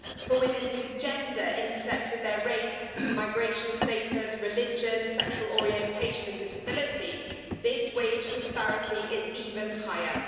For women whose gender intersects with their race, migration status, religion, sexual orientation and or disability, this wage disparity is even higher.